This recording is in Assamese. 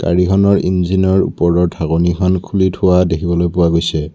গাড়ীখনৰ ইঞ্জিনৰ ওপৰৰ ঢাকনিখন খুলি থোৱা দেখিবলৈ পোৱা গৈছে।